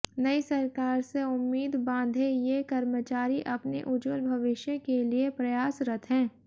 नई सरकार से उम्मीद बांधे ये कर्मचारी अपने उज्ज्वल भविष्य के लिए प्रयासरत हैं